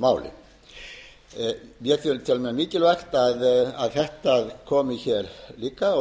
máli mér finnst mjög mikilvægt að þetta komi líka og við